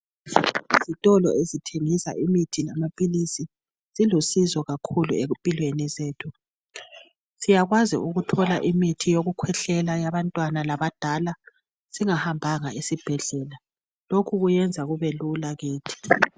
izitolo ezithengisa imithi lama philizi zilusizo kakhulu empilweni zethu siyakwazi ukuthola imithi yokukhwehlela yabantwana labadala singahambanga esibhedlela lokhu kulusizo olukhulu kakhulu kithi.